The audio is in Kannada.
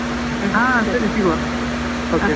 ಹಾ ಸರಿ ಸಿಗುವ. okay bye.